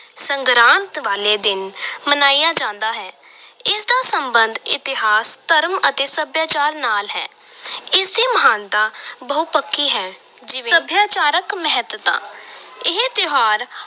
ਸੰਗਰਾਂਦ ਵਾਲੇ ਦਿਨ ਮਨਾਇਆ ਜਾਂਦਾ ਹੈ ਇਸ ਦਾ ਸਬੰਧ ਇਤਿਹਾਸ, ਧਰਮ ਅਤੇ ਸੱਭਿਆਚਾਰ ਨਾਲ ਹੈ ਇਸ ਦੀ ਮਹਾਨਤਾ ਬਹੁਪੱਖੀ ਹੈ ਜਿਵੇਂ, ਸਭਿਆਚਾਰਕ ਮਹੱਤਤਾ ਇਹ ਤਿਉਹਾਰ